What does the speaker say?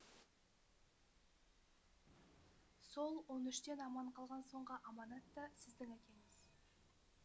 сол он үштен аман қалған соңғы аманат та сіздің әкеңіз